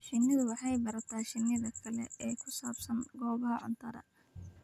Shinnidu waxay barataa shinnida kale ee ku saabsan goobaha cuntada.